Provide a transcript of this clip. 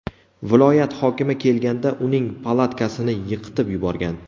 Viloyat hokimi kelganda uning palatkasini yiqitib yuborgan.